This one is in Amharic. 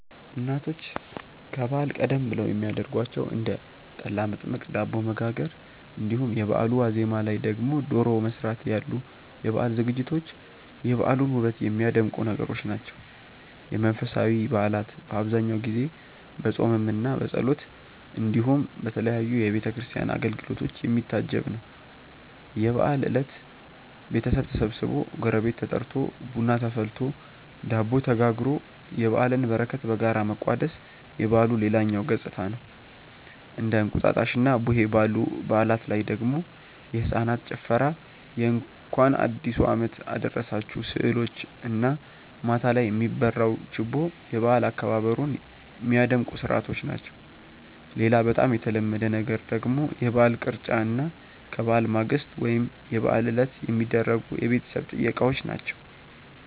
እናቶች ከበዓል ቀደም ብለው የሚያረጓቸው እንደ ጠላ መጥመቅ፣ ዳቦ መጋገር እንዲሁም የበአሉ ዋዜማ ላይ ደግሞ ዶሮ መስራት ያሉ የበዓል ዝግጅቶች የበዓሉን ውበት የሚያደምቁ ነገሮች ናቸው። የመንፈሳዊ በዓላት በአብዛኛው ጊዜ በፆምምና በጸሎት እንዲሁም በተለያዩ የቤተ ክርስቲያን አገልግሎቶች የሚታጀብ ነው። የበዓል እለት ቤተሰብ ተሰብስቦ፣ ጎረቤት ተጠርቶ፣ ቡና ተፈልቶ፣ ዳቦ ተጋግሮ የበዓልን በረከት በጋራ መቋደስ የበዓሉ ሌላኛው ገፅታ ነው። እንደ እንቁጣጣሽና ቡሄ ባሉ በዓላት ላይ ደግሞ የህፃናት ጭፈራ የእንኳን አዲሱ አመት አደረሳችሁ ስዕሎች እና ማታ ላይ የሚበራው ችቦ የበዓል አከባበሩን ሚያደምቁ ስርዓቶች ናቸው። ሌላ በጣም የተለመደ ነገር ደግሞ የበዓል ቅርጫ እና ከበዓል ማግስት ወይም የበዓል ዕለት የሚደረጉ የቤተሰብ ጥየቃዎች ናቸው።